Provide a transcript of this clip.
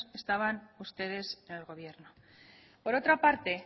estaban ustedes en el gobierno por otra parte